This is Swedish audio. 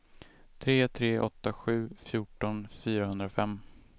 tre tre åtta sju fjorton fyrahundrafem